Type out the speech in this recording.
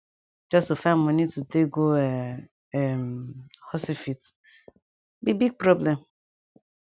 just to find moni to take go um hosyfit be big problem